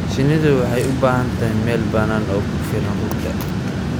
Shinnidu waxay u baahan tahay meel bannaan oo ku filan rugta.